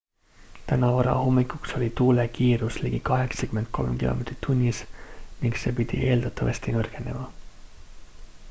täna varahommikuks oli tuule kiirus ligi 83 km/h ning see pidi eeldatavasti nõrgenema